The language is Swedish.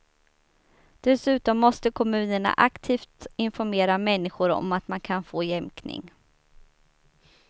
Dessutom måste kommunerna aktivt informera människor om att man kan få jämkning.